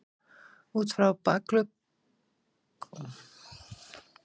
Út frá bakuggunum skaga langir broddar og áberandi dökkur blettur er á hvorri hlið.